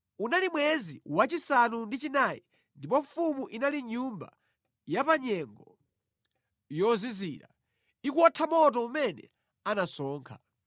Unali mwezi wachisanu ndi chinayi ndipo mfumu inali mʼnyumba ya pa nyengo yozizira, ikuwotha moto umene anasonkha.